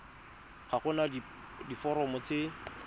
ga go na diforomo tse